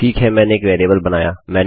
ठीक है मैंने एक वेरिएबल बनाया